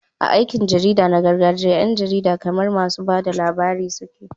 A aikin jarida na gargajiya, 'yan jarida kamar masu ba da labari suke.